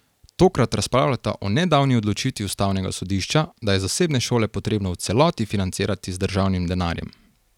Tokrat razpravljata o nedavni odločitvi ustavnega sodišča, da je zasebne šole potrebno v celoti financirati z državnim denarjem.